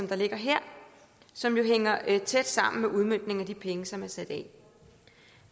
ligger her som jo hænger tæt sammen med udmøntningen af de penge som er sat af